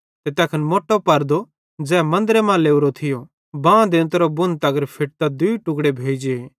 ते तैखन मोट्टो पर्दो ज़ै मन्दरे मां लोरो थियो बां देंता बुण तगर फेटतां दूई टुक्ड़े भोइ जे